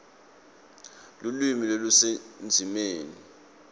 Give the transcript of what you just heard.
lulwimi lusendzimeni